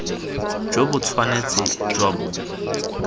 jo bo tshwanetse jwa bo